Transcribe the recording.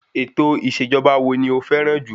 Ètò ìṣèjọba wo ni o fẹ́ràn jù?